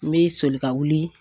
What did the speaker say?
N bɛ soli ka wuli